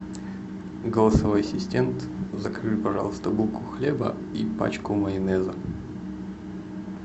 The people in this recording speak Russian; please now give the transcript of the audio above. голосовой ассистент закажи пожалуйста булку хлеба и пачку майонеза